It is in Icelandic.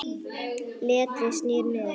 Letrið snýr niður.